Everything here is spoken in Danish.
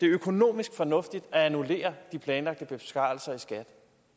økonomisk fornuftigt at annullere de planlagte besparelser i skat